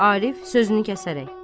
Arif sözünü kəsərək.